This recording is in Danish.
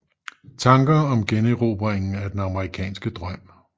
Tanker om generobringen af den amerikanske drøm